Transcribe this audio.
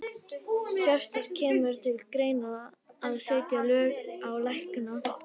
Hjörtur: Kemur til greina að setja lög á lækna?